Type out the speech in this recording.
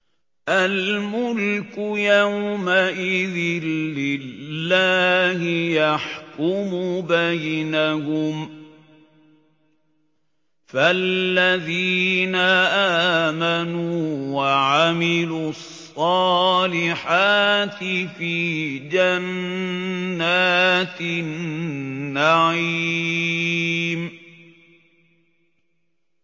الْمُلْكُ يَوْمَئِذٍ لِّلَّهِ يَحْكُمُ بَيْنَهُمْ ۚ فَالَّذِينَ آمَنُوا وَعَمِلُوا الصَّالِحَاتِ فِي جَنَّاتِ النَّعِيمِ